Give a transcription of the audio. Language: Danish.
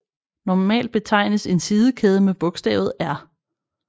Normalt betegnes en sidekæde med bogstavet R